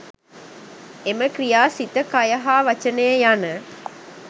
එම ක්‍රියා සිත, කය හා වචනය යන